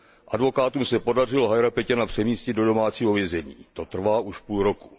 Advokátům se podařilo Hajrapeťjana přemístit do domácího vězení. To trvá už půl roku.